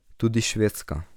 Tudi Švedska.